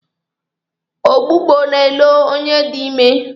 Ọgbụgbọ na-elo onye dị ime.